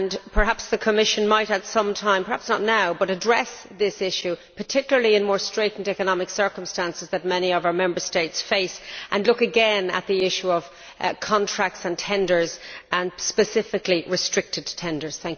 Perhaps the Commission might at some time perhaps not now address this issue, particularly in the more straitened economic circumstances that many of our Member States face, and look again at the issue of contracts and tenders and, specifically, restricted tenders.